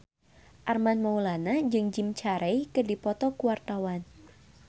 Armand Maulana jeung Jim Carey keur dipoto ku wartawan